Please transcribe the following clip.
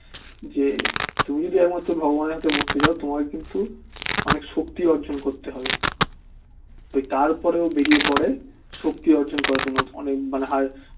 যে তুমি যদি একমাত্র ভগবানের হাতে মরতে চাও তোমাকে কিন্তু অনেক শক্তি অর্জন করতে হবে তারপর ও বেরিয়ে পরে শক্তি অর্জন করার জন্য অনেক মানে হায়